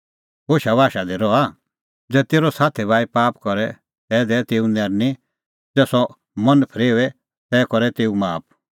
होशा बाशा दी रहा ज़ै तेरअ साथी भाई पाप करे तै दैऐ तेऊ नैरनीं ज़ै सह मन फरेओए तै कर तेऊ माफ